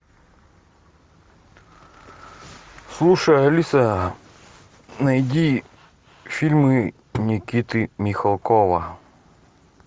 слушай алиса найди фильмы никиты михалкова